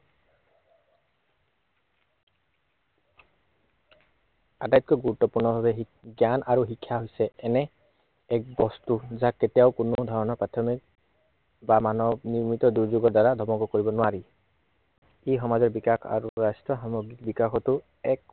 এক আটাইতকৈ গুৰুত্বপূৰ্ণ ভাৱে জ্ঞান আৰু শিক্ষা হৈছে এনে, এক বস্তু যাক কেতিয়াও কোনো ধৰনৰ প্ৰাথমিক বা মানৱ নিৰ্মিত দুৰ্যোগৰ দ্বাৰা ধ্বংস কৰিব নোৱাৰি। ই সমাজৰ বিকাশ আৰু ৰাষ্ট্ৰৰ সামগ্ৰিক বিকাশতো